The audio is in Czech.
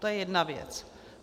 To je jedna věc.